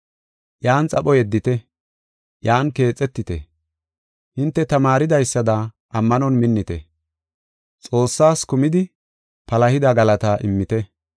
Iyan xapho yeddite; iyan keexetite. Hinte tamaaridaysada ammanon minnite; Xoossaas kumidi palahida galataa immite.